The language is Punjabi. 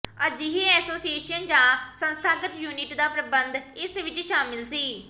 ਅਜਿਹੇ ਐਸੋਸੀਏਸ਼ਨ ਜਾਂ ਸੰਸਥਾਗਤ ਯੂਨਿਟ ਦਾ ਪ੍ਰਬੰਧ ਇਸ ਵਿੱਚ ਸ਼ਾਮਿਲ ਸੀ